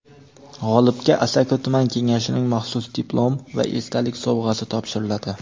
G‘olibga Asaka tuman Kengashining maxsus diplom va esdalik sovg‘asi topshiriladi.